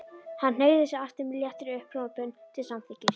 Hann hneigði sig aftur með léttri upphrópun til samþykkis.